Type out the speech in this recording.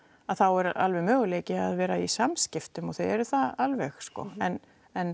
þá er alveg möguleiki að vera í samskiptum og þau eru það alveg en en